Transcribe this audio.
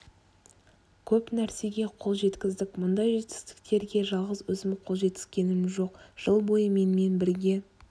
көп нәрсеге қол жеткіздік мұндай жетістіктерге жалғыз өзім қол жеткізгенім жоқ жыл бойы менімен бірге